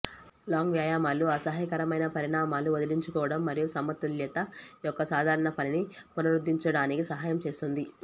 long వ్యాయామాలు అసహ్యకరమైన పరిణామాలు వదిలించుకోవటం మరియు సమతుల్యత యొక్క సాధారణ పనిని పునరుద్ధరించడానికి సహాయం చేస్తుంది